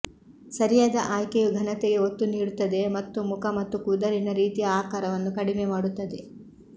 ಸರಿಯಾದ ಆಯ್ಕೆಯು ಘನತೆಗೆ ಒತ್ತು ನೀಡುತ್ತದೆ ಮತ್ತು ಮುಖ ಮತ್ತು ಕೂದಲಿನ ರೀತಿಯ ಆಕಾರವನ್ನು ಕಡಿಮೆ ಮಾಡುತ್ತದೆ